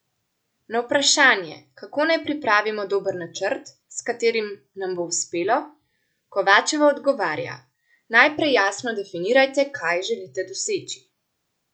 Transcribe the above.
Na vprašanje, kako naj pripravimo dober načrt, s katerim nam bo uspelo, Kovačeva odgovarja: "Najprej jasno definirajte, kaj želite doseči.